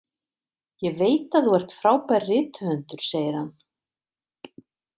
Ég veit að þú ert frábær rithöfundur, segir hann.